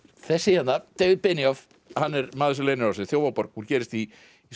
þessi hérna David hann er maður sem leynir á sér Þjófaborg gerist í